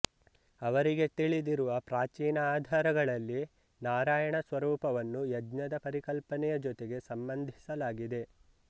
ಅವರಿಗೆ ತಿಳಿದಿರುವ ಪ್ರಾಚೀನ ಆಧಾರಗಳಲ್ಲಿ ನಾರಾಯಣ ಸ್ವರೂಪವನ್ನು ಯಜ್ಞದ ಪರಿಕಲ್ಪನೆಯ ಜೊತೆಗೆ ಸಂಬಂಧಿಸಲಾಗಿದೆ